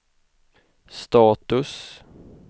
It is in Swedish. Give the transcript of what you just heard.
status